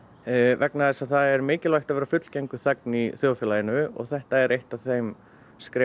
vegna þess að það er mikilvægt að vera fullgildur þegn í þjóðfélaginu og þetta er eitt af þeim skrefum